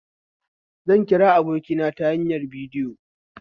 Zan kira abokina ta hanyar bidiyo